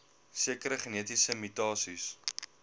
sekere genetiese mutasies